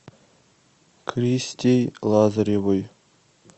кристей лазаревой